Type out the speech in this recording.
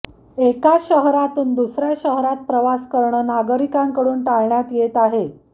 एका शहरातून दुसऱ्या शहरात प्रवास करणं नागरिकांकडून टाळण्यात येत आहे